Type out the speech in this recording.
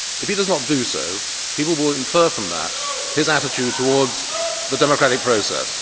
If he does not do so, people will infer from that his attitude towards the democratic process.